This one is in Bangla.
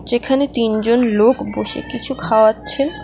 যেখানে তিনজন লোক বসে কিছু খাওয়াচ্ছেন।